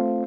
a e g